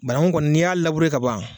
Bananku kɔni n'i y'a labure ka ban.